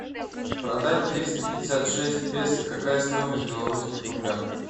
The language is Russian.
продать триста пятьдесят шесть песо какая стоимость в белорусских рублях